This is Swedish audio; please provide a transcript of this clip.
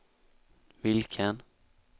vilken